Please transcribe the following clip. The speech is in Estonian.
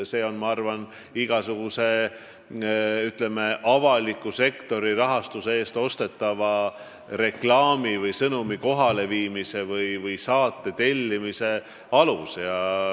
See on igasuguse, ütleme, avaliku sektori rahastuse eest ostetava reklaami/sõnumi kohaleviimise või saate tellimise alus.